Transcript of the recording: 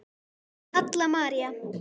Halla María.